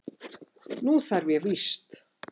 Nú þarf ég víst.